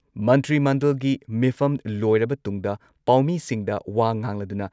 ꯃꯟꯇ꯭ꯔꯤ ꯃꯟꯗꯜꯒꯤ ꯃꯤꯐꯝ ꯂꯣꯏꯔꯕ ꯇꯨꯡꯗ ꯄꯥꯎꯃꯤꯁꯤꯡꯗ ꯋꯥ ꯉꯥꯡꯂꯗꯨꯅ